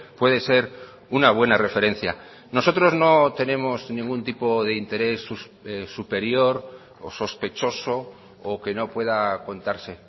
puede ser una buena referencia nosotros no tenemos ningún tipo de interés superior o sospechoso o que no pueda contarse